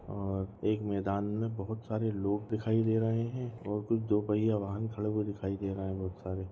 और एक मैदान मे बहुत सारे लोग दिखाई दे रहे है और कुछ दो पहिया वाहन दिखाई दे रहे है बहुत सारे।